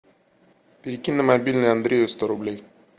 перекинь на мобильный андрею сто рублей